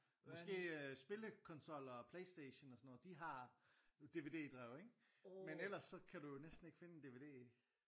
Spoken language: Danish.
Måske øh spille konsoller og Playstation og sådan noget de har DVD drev ikke men ellers så kan du jo næsten ikke finde en DVD